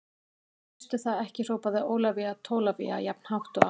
Veistu það ekki hrópaði Ólafía Tólafía jafn hátt og áður.